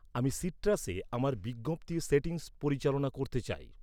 আমি সিট্রাসে আমার বিজ্ঞপ্তির সেটিংস পরিচালনা করতে চাই।